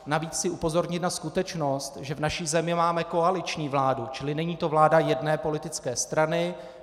Navíc chci upozornit na skutečnost, že v naší zemi máme koaliční vládu, čili není to vláda jedné politické strany.